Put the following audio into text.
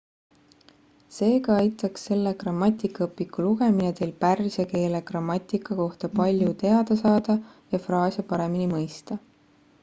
seega aitaks selle grammatikaõpiku lugemine teil pärsia keele grammatika kohta palju teada saada ja fraase paremini mõista